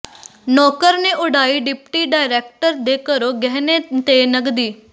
ਨੌਕਰ ਨੇ ਉਡਾਈ ਡਿਪਟੀ ਡਾਇਰੈਕਟਰ ਦੇ ਘਰੋਂ ਗਹਿਣੇ ਤੇ ਨਗਦੀ